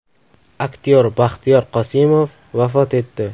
Aktyor Baxtiyor Qosimov vafot etdi .